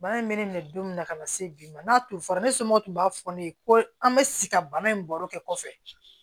Bana in bɛ ne minɛ don min na ka na se bi ma n'a tun fɔra ne somɔ tun b'a fɔ ne ye ko an bɛ si ka bana in baro kɛ kɔfɛ